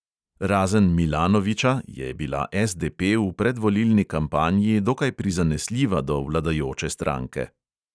Razen milanovića je bila SDP v predvolilni kampanji dokaj prizanesljiva do vladajoče stranke.